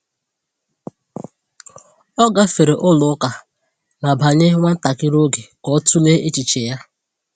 O gafere ụlọ ụka ma banye nwa ntakịrị oge ka ọ tụlee echiche ya.